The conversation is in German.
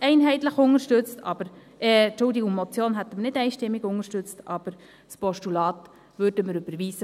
Eine Motion hätten wir nicht einstimmig unterstützt, aber das Postulat würden wir überweisen.